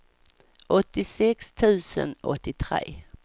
åttiosex tusen åttiotre